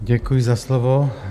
Děkuji za slovo.